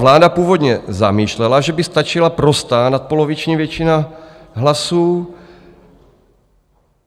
Vláda původně zamýšlela, že by stačila prostá nadpoloviční většina hlasů.